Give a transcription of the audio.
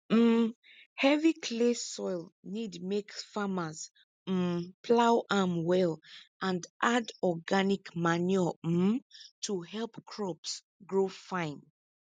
um heavy clay soil need make farmers um plough am well and add organic manure um to help crops grow fine